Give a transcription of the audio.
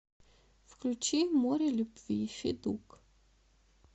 включи море любви федук